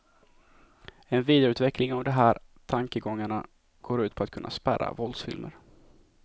En vidareutveckling av de här tankegångarna går ut på att kunna spärra våldsfilmer.